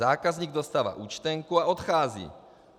Zákazník dostává účtenku a odchází.